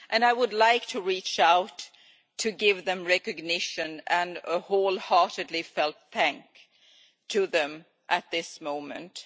I would like to reach out to give recognition and wholeheartedly felt thanks to them at this time.